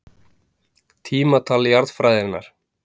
Tímatal jarðfræðinnar.